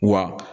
Wa